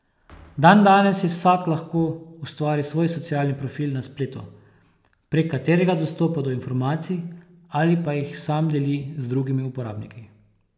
Dandanes si vsak lahko ustvari svoj socialni profil na spletu, prek katerega dostopa do informacij ali pa jih sam deli z drugimi uporabniki.